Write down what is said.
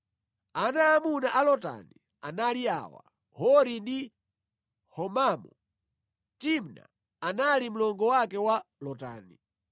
Ana aamuna a Lotani anali awa: Hori ndi Homamu. Timna anali mlongo wake wa Lotani.